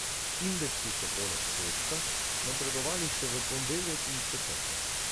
Indeksi so poleg petka napredovali še v ponedeljek in četrtek.